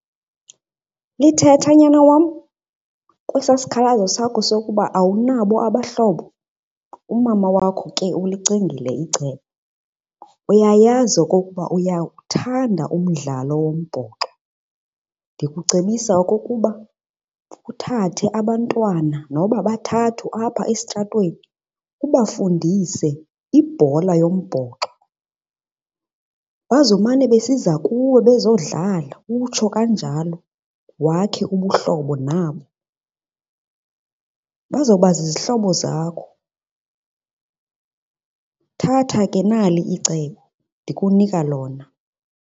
Lithetha, nyana wam, kwesaa sikhalo sakho sokuba awunabo abahlobo umama wakho ke ulicingile icebo. Uyayazi okokuba uyawuthanda umdlalo wombhoxo, ndikucebisa okokuba uthathe abantwana noba bathathu apha esitratweni ubafundise ibhola yombhoxo. Bazomane besiza kuwe bezodlala utsho kanjalo wakhe ubuhlobo nabo. Bazawuba zizihlobo zakho. Thatha ke, nali icebo ndikunika lona.